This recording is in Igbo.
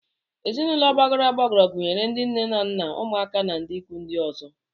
Ezinụlọ gbagọrọ agbagọ gunyere ndị nne na nna, ụmụaka na ndị ikwu ndị ọzọ